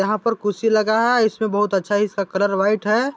यहाँ पर कुर्सी लागा है इसमें बहुत अच्छा इसका कलर व्हाइट है।